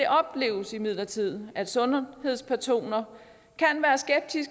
oplever imidlertid at sundhedspersoner